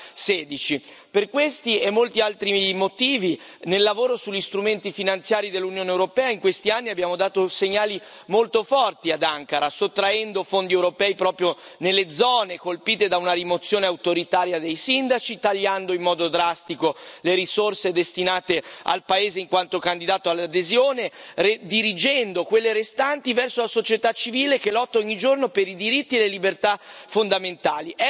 2016? Per questi e molti altri motivi nel lavoro sugli strumenti finanziari dell'Unione europea in questi anni abbiamo dato segnali molto forti ad Ankara, sottraendo fondi europei proprio nelle zone colpite da una rimozione autoritaria dei sindaci, tagliando in modo drastico le risorse destinate al paese in quanto candidato all'adesione, redirigendo quelle restanti verso la società civile che lotta ogni giorno per i diritti e le libertà fondamentali.